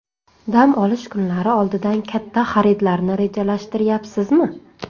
Dam olish kunlari oldidan katta xaridlarni rejalashtiryapsizmi?